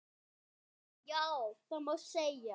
Já, það má segja.